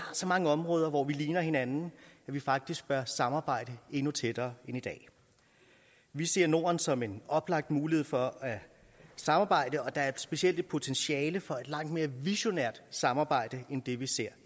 så mange områder hvor vi ligner hinanden at vi faktisk bør samarbejde endnu tættere end i dag vi ser norden som en oplagt mulighed for at samarbejde og der er specielt et potentiale for et langt mere visionært samarbejde end det vi ser